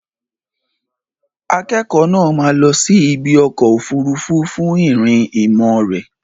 Akẹ́kọ̀ọ́ náà máa lọ sí ibi ọkọ̀ òfuurufú fún ìrìn ìmọ̀ rẹ̀.